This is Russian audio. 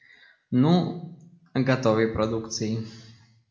ну готовой продукцией